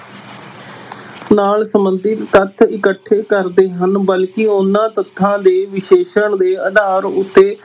ਨਾਲ ਸੰਬੰਧਿਤ ਤੱਥ ਇਕੱਠੇ ਕਰਦੇ ਹਨ ਬਲਕਿ ਉਨ੍ਹਾਂ ਤੱਥਾਂ ਦੇ ਵਿਸ਼ਲੇਸ਼ਣ ਦੇ ਆਧਾਰ ਉੱਤੇ